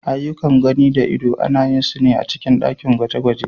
Aiyukan gani da ido ana yin su a cikin ɗakin gwaje-gwaje.